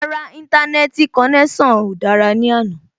Rárá, Íńtánẹ́ẹ̀tì konẹ́sàn náà ò dára ní àná